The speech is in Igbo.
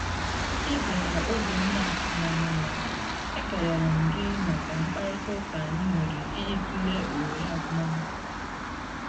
Ị bịara oge m na atụghị anya ya, ekelere m gị maka mkparịta ụka anyị nwere ịjị tụlee ohere agụm akwụkwọ n'efu